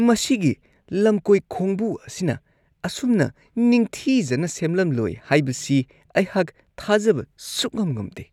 ꯃꯁꯤꯒꯤ ꯂꯝꯀꯣꯏ ꯈꯣꯡꯕꯨ ꯑꯁꯤꯅ ꯑꯁꯨꯝꯅ ꯅꯤꯡꯊꯤꯖꯅ ꯁꯦꯝꯂꯝꯂꯣꯏ ꯍꯥꯏꯕꯁꯤ ꯑꯩꯍꯥꯛ ꯊꯥꯖꯕ ꯁꯨꯛꯉꯝ -ꯉꯝꯗꯦ ꯫